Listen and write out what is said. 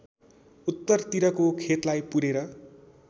उत्तरतिरको खेतलाई पुरेर